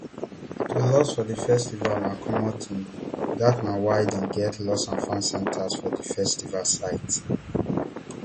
to loss for di festival na common tin dat na why dem get lostandfound centres for di festival site